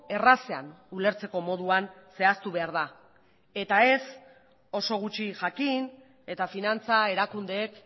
errazean ulertzeko moduan zehaztu behar da eta ez oso gutxi jakin eta finantza erakundeek